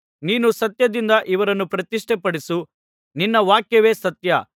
ನೀನು ಸತ್ಯದಿಂದ ಇವರನ್ನು ಪ್ರತಿಷ್ಠೆಪಡಿಸು ನಿನ್ನ ವಾಕ್ಯವೇ ಸತ್ಯ